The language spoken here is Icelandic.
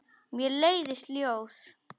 Mér leiðast ljóð.